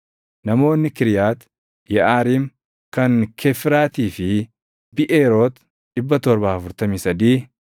namoonni Kiriyaati Yeʼaariim, kan Kefiiraatii fi Biʼeeroot 743